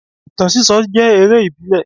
Ìtàn síso jẹ́ eré ìbílẹ̀